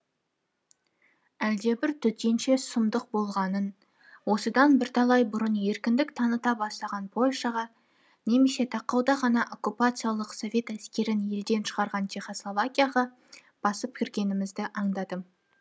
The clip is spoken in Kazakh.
әлдебір төтенше сұмдық болғанын осыдан бірталай бұрын еркіндік таныта бастаған польшаға немесе тақауда ғана оккупациялық совет әскерін елден шығарған чехословакияға басып кіргенімізді аңдадым